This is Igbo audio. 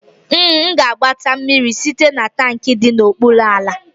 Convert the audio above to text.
M ga-agbata mmiri site na tankị dị n'okpuru ala